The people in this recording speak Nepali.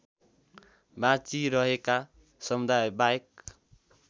बाँचिरहेका समुदायबाहेक